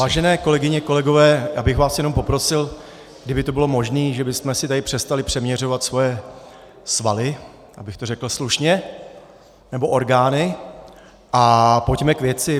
Vážené kolegyně, kolegové, já bych vás jenom poprosil, kdyby to bylo možné, že bychom si tady přestali přeměřovat svoje svaly, abych to řekl slušně, nebo orgány, a pojďme k věci.